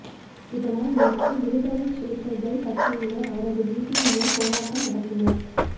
இதனால் நேற்று விடுதலைச்சிறுத்தைகள் கட்சியினர் அவரது வீட்டின் முன் போராட்டம் நடத்தினர்